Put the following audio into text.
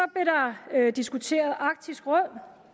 diskuteret arktisk råd